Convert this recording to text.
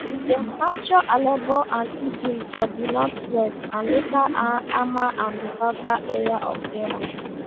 dem capture aleppo and idlib for di northwest and later hama and di southern area for deraa